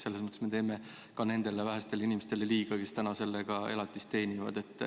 Selles mõttes me teeme ka nendele vähestele inimestele liiga, kes sellega elatist teenivad.